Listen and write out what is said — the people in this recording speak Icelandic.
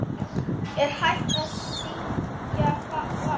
Er hægt að syngja falskt?